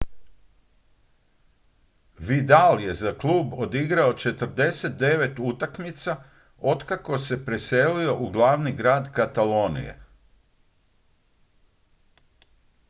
vidal je za klub odigrao 49 utakmica otkako se preselio u glavni grad katalonije